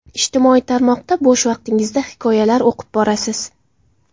Ijtimoiy tarmoqda bo‘sh vaqtingizda hikoyalar o‘qib borasiz.